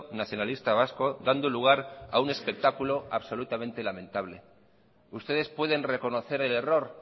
nacionalista vasco dando lugar a un espectáculo absolutamente lamentable ustedes pueden reconocer el error